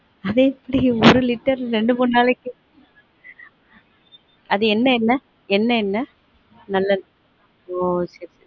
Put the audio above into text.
அது எப்டி ஒரு litre ரெண்டு மூனு நாளைக்கு அது என்ன எண்ணே நல்லெண்ண ஒ சரி சரி